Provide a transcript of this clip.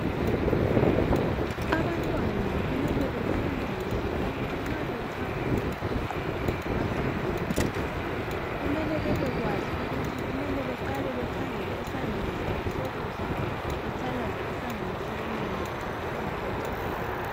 Abantwana kumele befundiswe ukuthi nxa bechapha umgwaqo bachapha njani. Kumele bebekwazi ukuthi kumele beqale bekhangele esandleni sabo sokudla bethalaze esandleni sokunxele bengakachaphi.